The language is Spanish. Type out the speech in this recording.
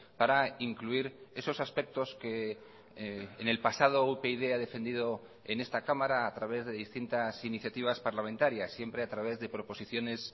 para incluir esos aspectos que en el pasado upyd ha defendido en esta cámara a través de distintas iniciativas parlamentarias siempre a través de proposiciones